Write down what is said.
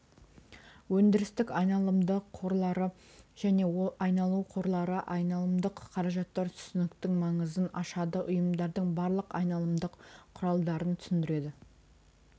өндірістік айналымды қорларды және айналу қорлары айналымдық қаражаттар түсініктің маңызын ашады ұйымдардың барлық айналымдық құралдарын түсіндіреді